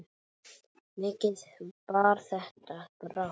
Mikið bar þetta brátt að.